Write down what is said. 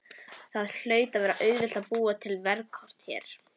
Það hlaut að vera auðvelt að búa til veðurkort hér.